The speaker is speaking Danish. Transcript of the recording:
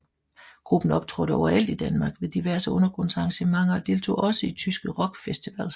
Gruppen optrådte overalt i Danmark ved diverse undergrundsarrangementer og deltog også i tyske rockfestivals